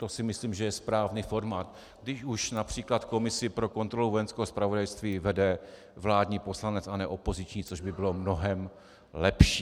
To si myslím, že je správný formát, když už například komisi pro kontrolu vojenského zpravodajství vede vládní poslanec a ne opoziční, což by bylo mnohem lepší.